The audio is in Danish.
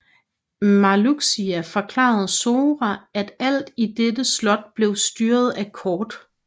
Marluxia forklarede Sora at alt i dette slot blev styret af kort